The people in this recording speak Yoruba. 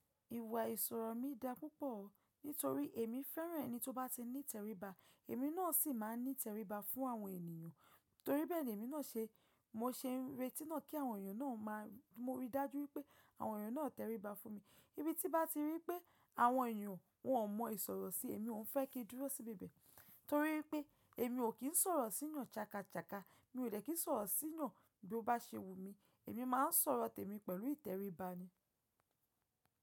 Ìwà ìsọ̀rọ̀ mi dá púpọ̀ nítorí èmi fẹ́ràn ẹni tó bá ti ní ìtẹríba, èmi náà sì máa ń ní ìtẹríba fún àwọn ènìyàn. Torí bẹ́ẹ̀ ni èmi náà ṣe, mo se ń retí náà kí àwọn ènìyàn náà máa ríi, mo rí i dájú wípé àwọn ènìyàn náà tẹríba fún mi. Bi tí bá ti rí pé àwọn ènìyàn wọn mọ ìsọ̀rọ̀ sí èmi, mo ń fẹ́ kí ó dúró sí bibẹ̀. Torí pé èmi ò kí ń sọ̀rọ̀ si èèyàn shaka shaka, mi ò dẹ̀ kí ń sọ̀rọ̀ sí èèyàn bí ó bá ṣe wù mí, èmi máa ń sọ̀rọ̀ tèmi pẹ̀lú ìtẹríba ni.